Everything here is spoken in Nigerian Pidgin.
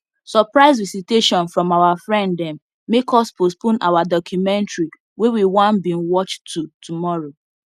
surprise visitation from our friend them make us postpone our documentary wey we want bin watch to tomorrow